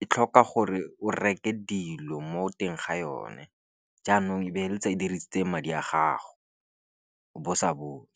e tlhoka gore o reke dilo mo teng ga yone, jaanong e be e letsa e dirisitse madi a gago bo sa bone.